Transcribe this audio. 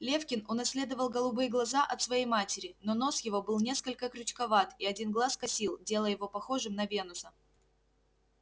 лефкин унаследовал голубые глаза от своей матери но нос его был несколько крючковат и один глаз косил делая его похожим на венуса